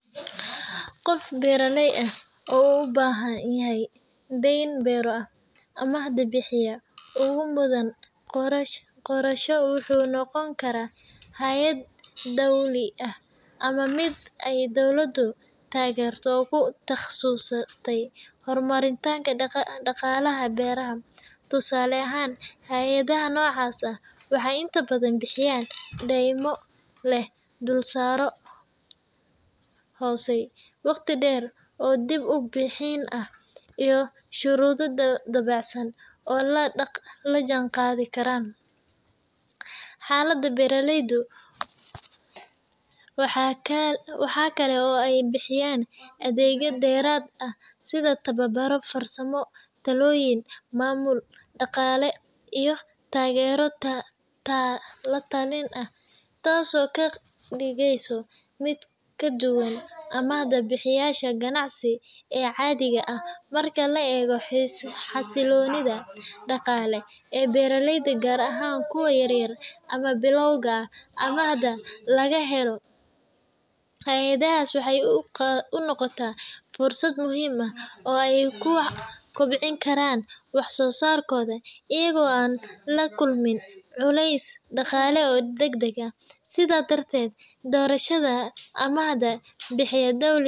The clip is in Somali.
Qof beeraley ah uu u baahan yahay deyn beero ah, amaah-bixiyaha ugu mudan doorasho wuxuu noqon karaa hay’ad dawli ah ama mid ay dawladdu taageerto oo ku takhasustay horumarinta dhaqaalaha beeraha. Tusaale ahaan, hay’adaha noocaas ah waxay inta badan bixiyaan deymo leh dulsaaryo hooseeya, waqtiyo dheer oo dib-u-bixin ah, iyo shuruudo dabacsan oo la jaanqaadi kara xaaladda beeraleyda. Waxaa kale oo ay bixiyaan adeegyo dheeraad ah sida tababaro farsamo, talooyin maamul dhaqaale, iyo taageero la-talin ah, taas oo ka dhigaysa mid ka duwan amaah-bixiyeyaasha ganacsi ee caadiga ah. Marka la eego xasilloonida dhaqaale ee beeraleyda, gaar ahaan kuwa yaryar ama bilowga ah, amaahda laga helo hay’adahaas waxay u noqotaa fursad muhiim ah oo ay ku kobcin karaan wax-soo-saarkooda iyaga oo aan la kulmin culaysyo dhaqaale oo degdeg ah. Sidaas darteed, doorashada amaah-bixiye dawli.